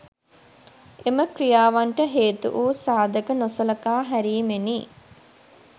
එම ක්‍රියාවන්ට හේතු වු සාධක නොසලකා හැරීමෙනි